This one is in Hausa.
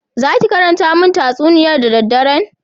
"Zaki karanta min tatsuniyar da dadderen?"